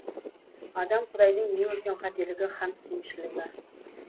адам құдайдың ең үлкен қателігі һәм кемшілігі